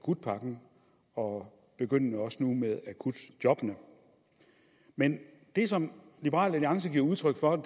akutpakken og begyndende også nu med akutjobbene men det som liberal alliance giver udtryk for